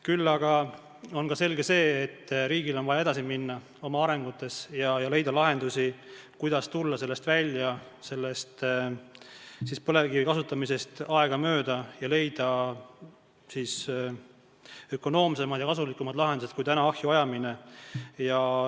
Küll aga on selge, et riigil on vaja oma arengutes edasi minna ja leida lahendusi, kuidas tulla aegamööda välja põlevkivi kasutamisest ning leida ökonoomsemad ja kasulikumad lahendused kui tänane põlevkivi ahju ajamine.